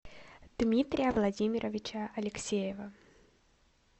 дмитрия владимировича алексеева